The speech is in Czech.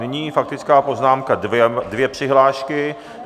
Nyní faktická poznámka - dvě přihlášky.